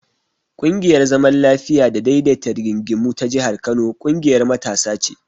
ƙungiyar zaman lafiya da daidaita rigingimu ta jihar Kano ƙungiyar matasa ce.